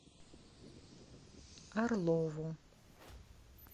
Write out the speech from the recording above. орлову